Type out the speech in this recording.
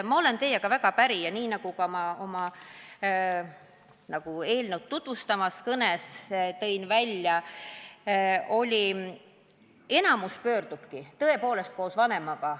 Ma olen teiega väga päri ja – nii, nagu ma ka eelnõu tutvustavas kõnes välja tõin – enamik noori pöördubki arsti poole tõepoolest koos vanemaga.